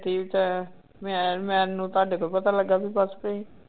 ਠੀਕ ਤਾਂ ਹੈ ਮੈਂ ਮੈਨੂੰ ਤੁਹਾਡੇ ਤੋਂ ਪਤਾ ਲੱਗਾ ਵੀ ਪੱਸ ਪਈ।